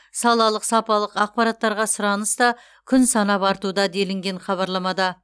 салалық сапалық ақпараттарға сұраныс та күн санап артуда делінген хабарламада